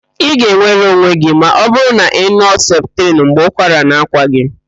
Ị ga-enwere onwe gị ma ọbụrụ na ị nụọ septrin mgbe ụkwara na-akwa gị.